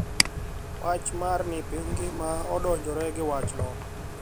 Wach mar ni piny ngima odonjore gi wachno